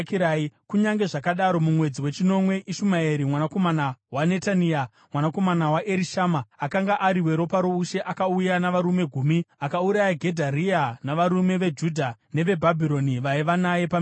Kunyange zvakadaro, mumwedzi wechinomwe Ishumaeri mwanakomana waNetania, mwanakomana waErishama, akanga ari weropa roushe, akauya navarume gumi akauraya Gedharia navarume veJudha neveBhabhironi vaiva naye paMizipa.